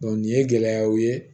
nin ye gɛlɛyaw ye